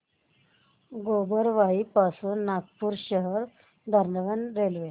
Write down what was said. गोबरवाही पासून नागपूर शहर दरम्यान रेल्वे